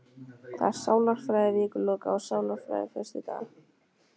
Það er sálarfræði vikuloka, og sálarfræði föstudaga.